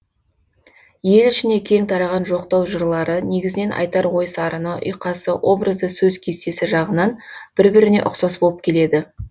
ел ішіне кең тараған жоқтау жырлары негізінен айтар ой сарыны ұйқасы образды сөз кестесі жағынан бір біріне ұқсас болып келеді